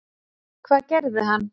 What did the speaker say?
Hvað gerði hann?